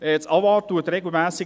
Das AWA informiert regelmässig;